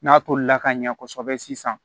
N'a tolila ka ɲɛ kosɛbɛ sisan